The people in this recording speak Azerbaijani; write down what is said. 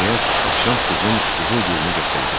Nəhayət, Avşant qızın qızıl gülünü gətirdi.